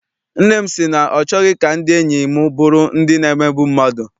Nne m sị na ọ chọghị ka ndị enyi m bụrụ ndị na-emegbu mmadụ.